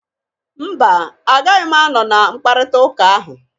Mba! Agaghị m anọ na mpkarịta ụka ahụ.